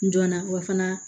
Dɔnna wa fana